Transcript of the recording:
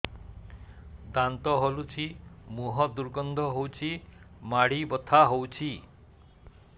ଦାନ୍ତ ହଲୁଛି ମୁହଁ ଦୁର୍ଗନ୍ଧ ହଉଚି ମାଢି ବଥା ହଉଚି